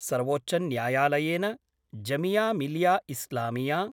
सर्वोच्चन्यायालयेन Jamia Millia Islamia